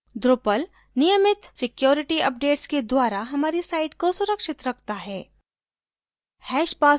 drupal नियमित security updates के द्वारा हमारी site को सुरक्षित रखता है